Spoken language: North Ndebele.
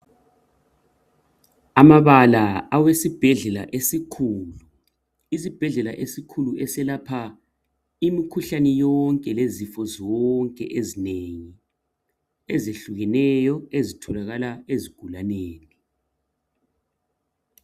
Amabala awesibhedlela esikhulu, isibhedlela esikhulu eselapha imikhuhlane yonke lezifo zonke ezinengi ezihlukeneyo ezitholakala ezigulaneni.